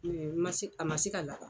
Ma se ,a ma se ka lada